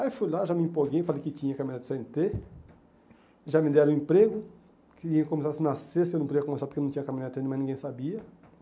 Aí fui lá, já me empolguei, falei que tinha caminhonete cê ene tê, já me deram emprego, que ia começar-se na sexta, eu não podia começar porque eu não tinha caminhonete ainda, mas ninguém sabia.